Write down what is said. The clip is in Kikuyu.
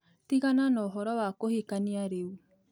Tigana na ũhoro wa kũhikania rĩu